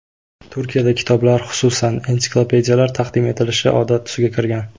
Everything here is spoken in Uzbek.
Turkiyada kitoblar, xususan, ensiklopediyalar taqdim etilishi odat tusiga kirgan.